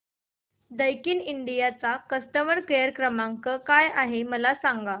Daikin India चा customer care क्रमांक काय आहे मला सांगा